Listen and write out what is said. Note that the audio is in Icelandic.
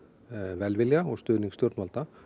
velvilja og stuðning stjórnvalda